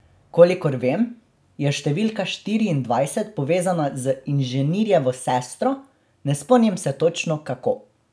Kolikor vem, je številka štiriindvajset povezana z inženirjevo sestro, ne spomnim se točno, kako.